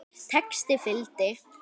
Texti fylgdi.